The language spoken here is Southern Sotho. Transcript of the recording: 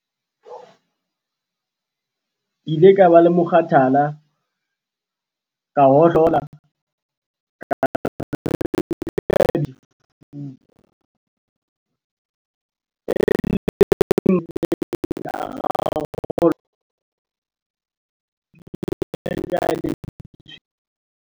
"Ke ile ka ba le mokgathala, ka hohlola ka ba ka bipetsana sefuba, e leng mathata a ileng a rarollwa ke peipi ya ka ya letshweya."